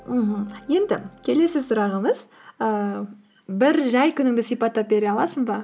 мхм енді келесі сұрағымыз ііі бір жай күніңді сипаттап бере аласың ба